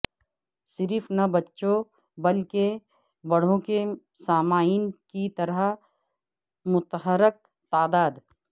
صرف نہ بچوں بلکہ بڑوں کے سامعین کی طرح متحرک تعداد